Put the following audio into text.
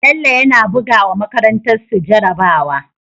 Bello yAna buga wa makarantar su jara bawa